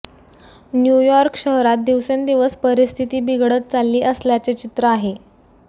New York शहरात दिवसेंदिवस परिस्थिती बिघडत चालली असल्याचे चित्र आहे